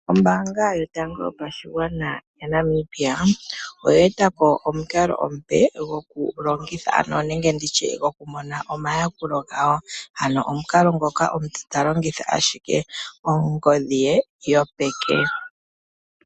Ombanga yotango yopashigwana yaNamibia oye etapo omukalo omupe goku longitha nenge nditye goku mona omayakulo gawo, omukalo ngoka omuntu ta longitha ashike ongodhi ye yopeke.